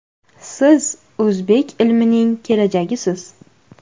Siz o‘zbek ilmining kelajagisiz”.